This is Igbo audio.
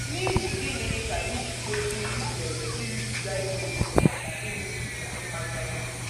N’ihi gịnị ka anyị ji kwesị izere iribiga ihe ókè na ịṅụbiga mmanya ókè?